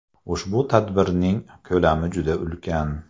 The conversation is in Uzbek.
Ushbu tadbirning ko‘lami juda ulkan.